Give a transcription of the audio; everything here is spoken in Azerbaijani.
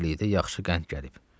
Karapet ağaya təzəlikdə yaxşı qənd gəlib.